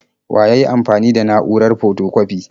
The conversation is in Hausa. Wa yayi amfani da na'urar fotokwafi?